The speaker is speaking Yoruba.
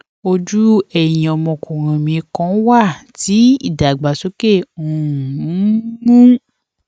ojú ẹyin ọmọkùnrin mi kan wà tí ìdàgbàsókè um ń mú